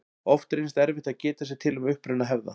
Oft reynist erfitt að geta sér til um uppruna hefða.